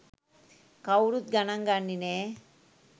කවුරුත් ගණන් ගන්නේ නෑ